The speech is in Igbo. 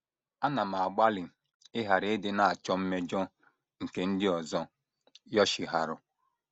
“ Ana m agbalị ịghara ịdị na - achọ mmejọ... nke ndị ọzọ. ” Yoshiharu